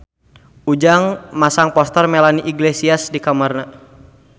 Ujang masang poster Melanie Iglesias di kamarna